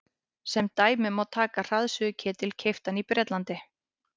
sem dæmi má taka hraðsuðuketil keyptan í bretlandi